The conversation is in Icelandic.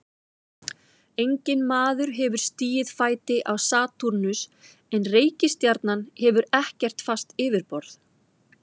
Enginn maður hefur stigið fæti á Satúrnus en reikistjarnan hefur ekkert fast yfirborð.